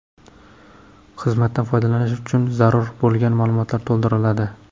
Xizmatdan foydalanish uchun zarur bo‘lgan ma’lumotlar to‘ldiriladi.